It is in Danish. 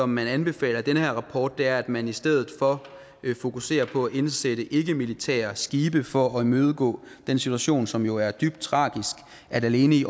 man anbefaler i den her rapport er at man i stedet for fokuserer på at indsætte ikkemilitære skibe for at imødegå den situation som jo er dybt tragisk at alene i